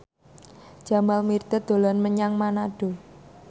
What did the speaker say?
Jamal Mirdad dolan menyang Manado